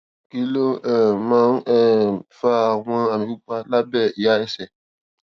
kí ló um máa ń um fa àwọn àmì pupa lábé ìhà ẹsè